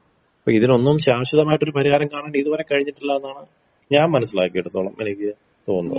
അപ്പിതിനൊന്നും ശാശ്വതമായിട്ടൊരു പരിഹാരം കാണാൻ കഴിഞ്ഞിട്ടില്ലെന്നാണ് ഞാൻ മനസ്സിലാക്കിയടത്തോളം എനിക്ക് തോന്നുന്നത്.